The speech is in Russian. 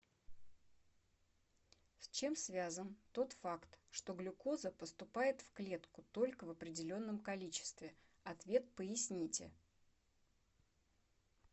с чем связан тот факт что глюкоза поступает в клетку только в определенном количестве ответ поясните